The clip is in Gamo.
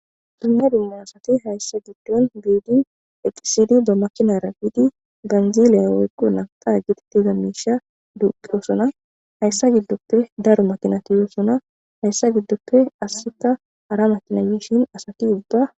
dinne dummaasati hayssa giddon biidi eqisidi da makinara biidi banziliya woykqo nabta giditiza miisha duuqiyosona hayssa giddoppe daro matinatiyosona hayssa giddoppe asase ta ara matina yiishin asati ubba